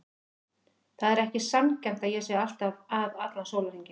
Það er ekki sanngjarnt að ég sé alltaf að allan sólarhringinn.